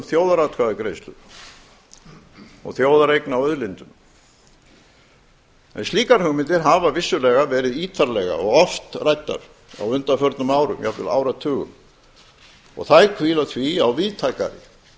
þjóðaratkvæðagreiðslur og þjóðareign á auðlindum en slíkar hugmyndir hafa vissulega verið ítarlega og oft ræddar á undanförnum árum jafnvel áratugum þær hvíla því á víðtækari